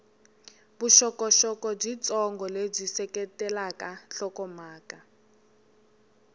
vuxokoxoko byitsongo lebyi seketelaka nhlokomhaka